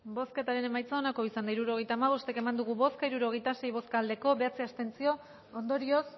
hirurogeita hamabost eman dugu bozka hirurogeita sei bai bederatzi abstentzio ondorioz